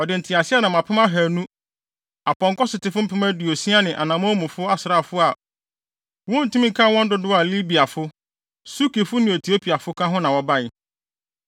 Ɔde nteaseɛnam apem ahannu, apɔnkɔsotefo mpem aduosia ne anammɔnmufo asraafo a wontumi nkan wɔn dodow a Libiafo, Sukifo ne Etiopiafo ka ho na wɔbae.